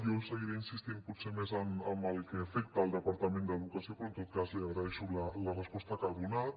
jo seguiré insistint potser més en el que afecta el departament d’educació però en tot cas li agraeixo la resposta que ha donat